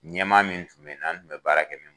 Ɲɛmaa min tun be n na n tun be baara kɛ min bolo